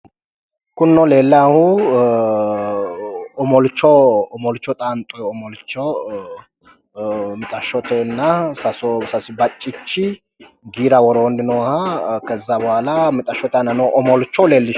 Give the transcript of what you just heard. Kunino leellaahu omolcho omolcho xaanxoyi omolcho mixashshotenna sasu baccichi giira woroonni nooha kezza bohaala giira woroonni nooha omolcho leellishshanno.